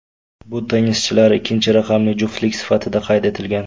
Bu tennischilar ikkinchi raqamli juftlik sifatida qayd etilgan.